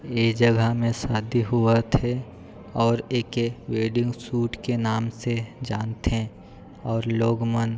ये जगह में सादी होवत हे और एके वेडिंग सूट के नाम से जानथे और लोग मन--